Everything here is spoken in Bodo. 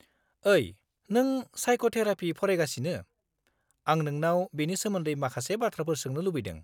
ओइ, नों साइक'थेरापि फरायगासिनो, आं नोंनाव बेनि सोमोन्दै माखासे बाथ्राफोर सोंनो लुबैदों।